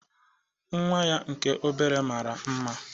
Nnwa ya nke obere mara mma.